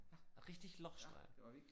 Richtig lochstreifen